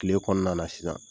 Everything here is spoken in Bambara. Tile kɔnɔna na sisan